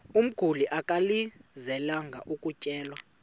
umguli alangazelelayo ukutyelelwa